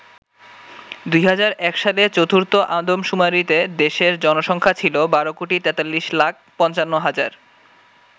২০০১ সালে চতুর্থ আদমশুমারিতে দেশের জনসংখ্যা ছিল ১২ কোটি ৪৩ লাখ ৫৫ হাজার।